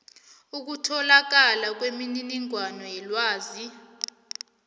ukutholakala kwemininingwana yelwazi